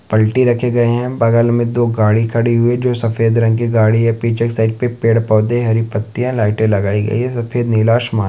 पलटी रखे गए है बगल मे दो गाड़ी खड़ी हुई है जो सफेद रंग की गाड़ी या पीछे के साइड पे पेड़ पौधे हरी पत्तीया लाइटे लगाई गई है सफेद नीला आसमान--